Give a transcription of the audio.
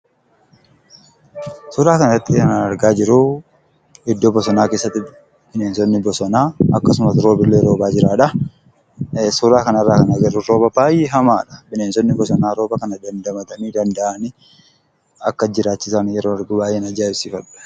Suuraa kana irratti kan ani argaa jiru iddoo bosonaa keessatti bineensonni bosonaa akkasumallee roobnillee roobaa jira. Suura kana irraa kan arginu rooba baay'ee hamaadha. Bineensonni bosonaa rooba kana dandamatanii: danda'anii yeroon akkasitti argu baay'een ajaa'ibsiifadha.